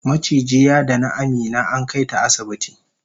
maciji yadani Amina ankaita asibiti